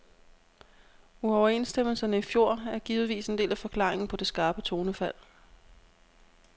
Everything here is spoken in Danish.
Uoverenstemmelserne i fjor er givetvis en del af forklaringen på det skarpe tonefald.